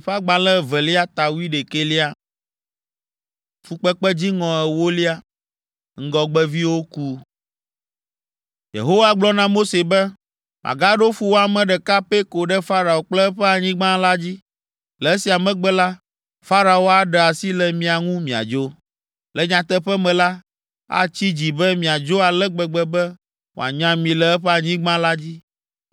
Yehowa gblɔ na Mose be, “Magaɖo fuwɔame ɖeka pɛ ko ɖe Farao kple eƒe anyigba la dzi. Le esia megbe la, Farao aɖe asi le mia ŋu miadzo. Le nyateƒe me la, atsi dzi be miadzo ale gbegbe be wòanya mi le eƒe anyigba la dzi.